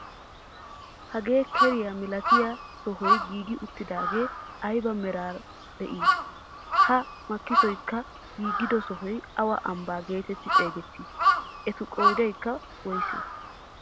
Hagee keriyaa milatiyaa sohoy giigi uttidaagee aybaa meraara de'ii? ha makkisoykka giigido sohoy awa ambbaa getetti xeegettii? etu qoodaykka woysee?